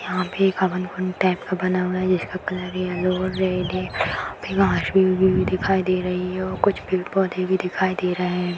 यहाँ पे एक हवन कुंड टाइप का बना हुआ है जिसका कलर येलो और रेड है | यहाँ पे घास भी उगी हुई दिखाई दे रही है और कुछ पेड़ पौधे भी दिखाई दे रहे है ।